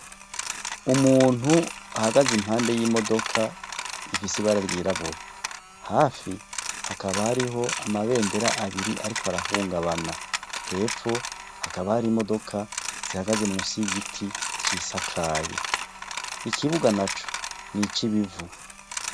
Umuntu ahagaze impande yimodoka ifise ibara ryirabura, hafi hakaba hariho amabendera abiri ariko arahungabana, hepfo hakaba hari imodoka zihagaze munsi yigiti cisakaye, ikibuga naco nicibivu.